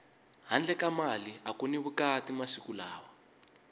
handle ka mali aku ni vukati masiku lawa